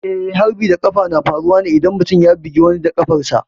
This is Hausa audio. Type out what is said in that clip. Eh, harbin da ƙafa na faruwa ne idan mutum ya bugi wani da ƙafarsa.